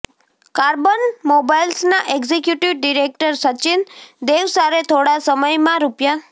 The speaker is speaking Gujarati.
કાર્બન મોબાઇલ્સના એક્ઝિક્યુટિવ ડિરેક્ટર સચિન દેવસારે થોડા સમયમાં રૂ